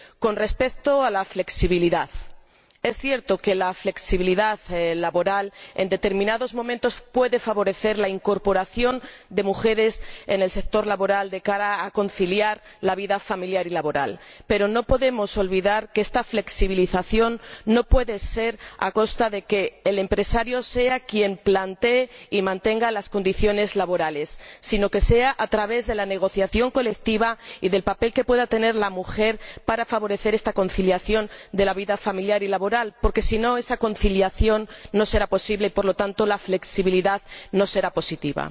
Con respecto a la flexibilidad, es cierto que la flexibilidad laboral en determinados momentos puede favorecer la incorporación de mujeres al mercado laboral de cara a conciliar la vida familiar y la laboral, pero no podemos olvidar que esta flexibilización no puede ser a costa de que el empresario sea quien plantee y mantenga las condiciones laborales, sino que sea a través de la negociación colectiva y del papel que pueda tener la mujer para favorecer esta conciliación de la vida familiar y la laboral, porque si no, esa conciliación no será posible y, por lo tanto, la flexibilidad no será positiva.